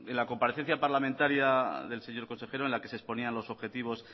la comparecencia parlamentaria del señor consejero en la que se exponían los objetivos